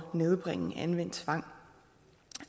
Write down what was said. nedbringe anvendelsen